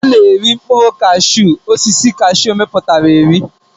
Ana eri mkpụrụ kashu osisi kashu miputa eri.